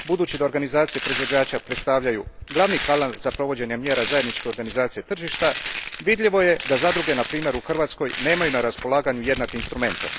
Budući da organizacije proizvođača predstavljaju glavni kanal za provođenje mjera zajedničke organizacije tržišta, vidljivo je da zadruge na primjer u Hrvatskoj nemaju na raspolaganju jednake instrumente.